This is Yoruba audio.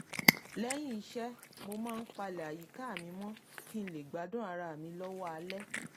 lẹ́yìn iṣẹ́ mo máa ń palẹ̀ àyíká mi mọ́ kí n lè gbádùn ara mi lọ́wọ́ alẹ́